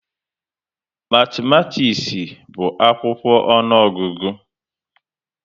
Matimatis bu akwụkwọ ọnụọgụgụ